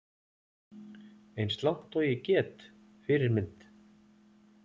Eins langt og ég get Fyrirmynd?